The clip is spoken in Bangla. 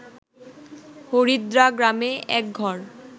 হরিদ্রাগ্রামে এক ঘর